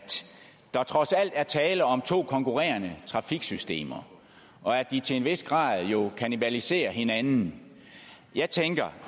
der trods alt er tale om to konkurrerende trafiksystemer og at de til en vis grad jo kannibaliserer hinanden jeg tænker